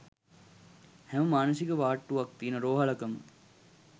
හැම මානසික වාට්ටුවක් තියෙන රෝහලකම